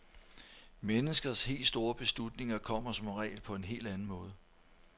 Menneskers helt store beslutninger kommer som regel på en helt anden måde.